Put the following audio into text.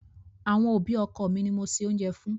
Àwọn òbí ọkọ mi ni mo se oúnjẹ fún.